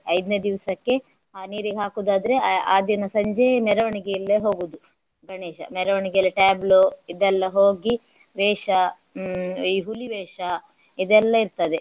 ಐದ್ನೆ ದಿವಸಕ್ಕೆ ಆ ನೀರಿಗೆ ಹಾಕುವುದಾದ್ರೆ ಆ ದಿನ ಸಂಜೆ ಮೆರವಣಿಗೆಯಲ್ಲೇ ಹೋಗುವುದು ಗಣೇಶ. ಮೆರವಣಿಗೆಯಲ್ಲಿ tableau ಇದೆಲ್ಲಾ ಹೋಗಿ ವೇಷ ಹ್ಮ್ ಈ ಹುಲಿ ವೇಷ ಇದೆಲ್ಲಾ ಇರ್ತದೆ.